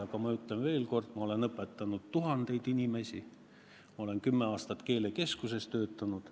Aga ma ütlen veel kord: ma olen õpetanud tuhandeid inimesi, ma olen kümme aastat keelekeskuses töötanud.